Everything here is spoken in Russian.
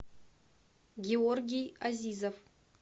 георгий азизов